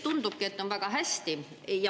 Tundubki, et kõik on väga hästi.